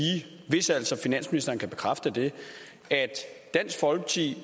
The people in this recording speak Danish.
hvis altså finansministeren kan bekræfte det at dansk folkeparti